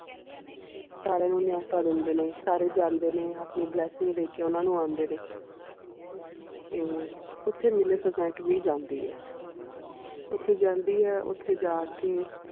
ਸਾਰੀਆਂ ਨੂੰ ਨਾਯੁਤਾ ਦੇਂਦੇ ਨੇ ਸਾਰੇ ਜਾਂਦੇ ਨੇ ਆਪਣੀ blessing ਦੇ ਕੇ ਓਨਾ ਨੂੰ ਆਉਂਦੇ ਨੇ ਤੇ ਓਥੇ ਮਿਲੇਸੁਸੰਤ ਵੀ ਜਾਂਦੀ ਇਹ ਓਥੇ ਜਾਂਦੀ ਇਹ ਓਥੇ ਜਾ ਕੇ.